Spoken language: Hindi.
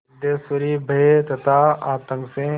सिद्धेश्वरी भय तथा आतंक से